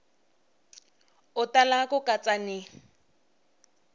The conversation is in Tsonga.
u tala ku katsa ni